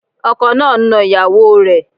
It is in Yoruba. Ọkọ náà ń ná ìyàwó o rẹ̀.